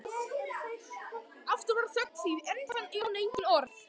Aftur varð þögn því enn fann Jón engin orð.